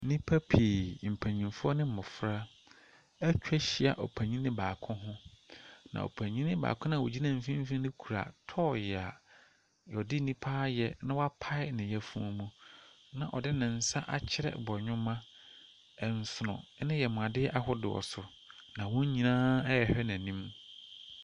Nnipa pii, mpanin ne mmɔfra, atwa ahyia ɔpanin baako ho, na ɔpanin baako no a ogyina mfimfin no kita toy a wɔde nnipa ayɛ na wɔpae ne yafunu mu na ɔde ne nsa akyerɛ bɔwema, nsono ne yamudeɛ ahodoɔ so, na wɔn nyinaa ɛrehwɛ n’anim.